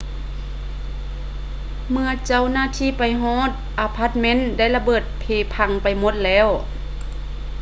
ເມື່ອເຈົ້າໜ້າທີ່ໄປຮອດ ອາພາດເມັນໄດ້ລະເບີດເພພັງໄປໝົດແລ້ວ